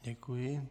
Děkuji.